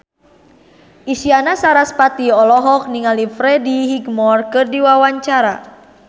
Isyana Sarasvati olohok ningali Freddie Highmore keur diwawancara